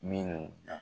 Minnu na